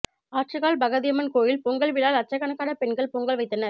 ஆற்றுக்கால் பகவதியம்மன் கோயில் பொங்கல் விழா லட்சக்கணக்கான பெண்கள் பொங்கல் வைத்தனர்